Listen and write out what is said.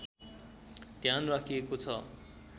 ध्यान राखिएको छ